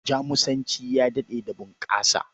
Jamusanci ya daɗe da bunƙasa.